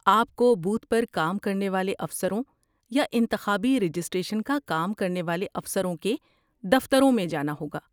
آپ کو بوتھ پر کام کرنے والے افسروں یا انتخابی رجسٹریشن کا کام کرنے والے افسروں کے دفتروں میں جانا ہوگا۔